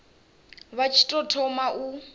vha tshi tou thoma u